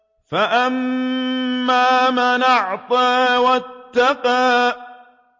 فَأَمَّا مَنْ أَعْطَىٰ وَاتَّقَىٰ